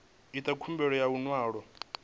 itaho khumbelo ya ḽi ṅwalo